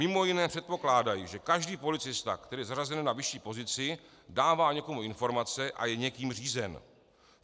Mimo jiné předpokládají, že každý policista, který je zařazen na vyšší pozici, dává někomu informace a je někým řízen.